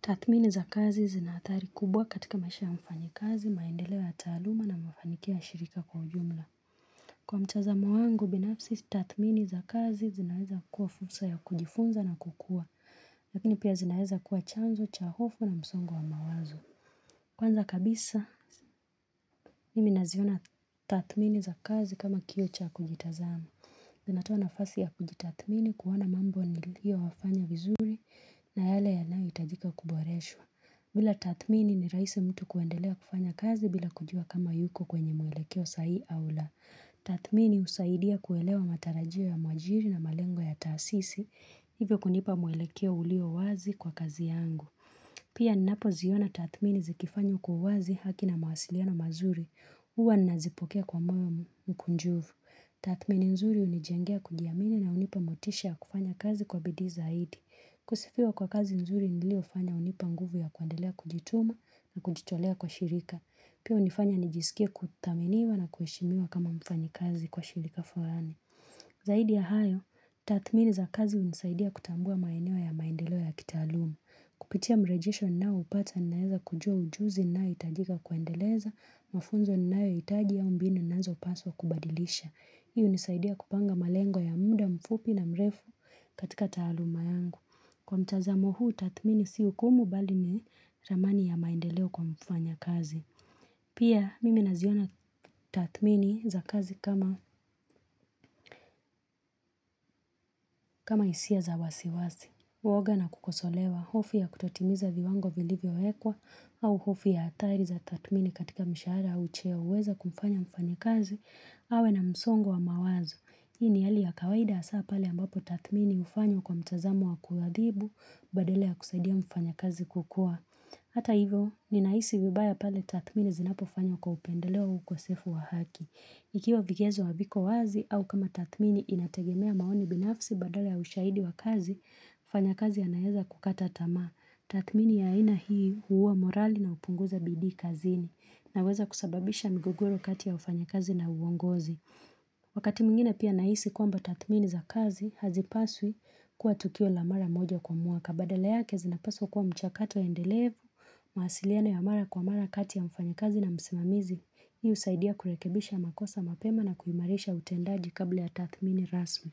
Tathmini za kazi zina hatari kubwa katika maisha ya mfanya kazi, maendeleo ya taaluma na mafanikio ya shirika kwa ujumla. Kwa mtazamo wangu, binafsi tathmini za kazi zinaweza kuwa fursa ya kujifunza na kukua, lakini pia zinaweza kuwa chanzo, cha hofu na msongo wa mawazo. Kwanza kabisa, mimi naziona tathmini za kazi kama kioo cha kujitazama. Zinatoa nafasi ya kujitathmini kuona mambo niliyo yafanya vizuri na yale yanayo hitajika kuboreshwa. Bila tathmini ni rahisi mtu kuendelea kufanya kazi bila kujua kama yuko kwenye muelekeo sahihi au la. Tathmini husaidia kuelewa matarajio ya mwajiri na malengo ya taasisi, hivyo kunipa muelekeo ulio wazi kwa kazi yangu. Pia ninapo ziona tathmini zikifanywa kwa uwazi haki na mawasiliano mazuri, huwa nazipokea kwa moyo mkunjufu. Tathmini nzuri hunichangia kujiamini na hunipa motisha yakufanya kazi kwa bidii zaidi. Kusifiwa kwa kazi nzuri niliyofanya hunipa nguvu ya kuendelea kujituma na kujitolea kwa shirika. Pia hunifanya nijisikie kuthaminiwa na kuheshimiwa kama mfanya kazi kwa shirika fulani. Zaidi ya hayo, tathmini za kazi hunisaidia kutambua maeneo ya maendeleo ya kitaaluma. Kupitia mrejesho ninaoupata ninaweza kujua ujuzi unaohitajika kuendeleza, mafunzo ninayo hitaji au mbinu ninazopaswa kubadilisha. Hii hunisaidia kupanga malengo ya muda mfupi na mrefu katika taaluma yangu. Kwa mtazamo huu, tathmini si hukumu bali ni ramani ya maendeleo kwa mfanya kazi. Pia, mimi naziona tathmini za kazi kama kama hisia za wasiwasi. Uwoga na kukosolewa, hofu ya kutotimiza viwango vilivyowekwa, au hofu ya hatari za tathmini katika mshahara au cheo huweza kumfanya mfanya kazi, awe na msongo wa mawazo. Hii ni hali ya kawaida hasa pale ambapo tathmini hufanywa kwa mtazamo wa kuadhibu, badala ya kusaidia mfanya kazi kukua. Hata hivyo, ninahisi vibaya pale tathmini zinapofanywa kwa upendeleo au ukosefu wa haki. Ikiwa vigezo haviko wazi au kama tathmini inategemea maoni binafsi badala ya ushaidi wa kazi, mfanya kazi anaweza kukata tama. Tathmini ya aina hii huuwa morali na hupunguza bidii kazini na huweza kusababisha migogoro kati ya wafanya kazi na uongozi. Wakati mwingine pia nahisi kwamba tathmini za kazi, hazipaswi kuwa tukio la mara moja kwa mwaka. Badala yake zinapaswa kuwa mchakato endelevu, mawasiliano ya mara kwa mara kati ya mfanya kazi na msimamizi. Hii husaidia kurekebisha makosa mapema na kuimarisha utendaji kabla ya tathmini rasmi.